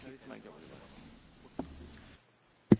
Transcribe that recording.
Mélyen tisztelt Elnök Úr, tisztelt Hölgyeim és Uraim!